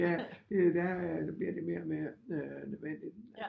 Ja der der bliver det mere og mere nødvendigt